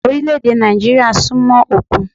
Orílẹ̀-èdè Nàìjíríà súnmọ́ òkun